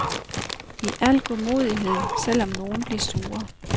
I al godmodighed, selvom nogen bliver sure.